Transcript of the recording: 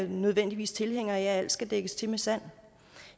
nødvendigvis tilhænger af at alt skal dækkes til med sand